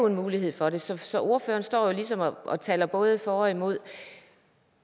en mulighed for det så så ordføreren står jo ligesom og taler både for og imod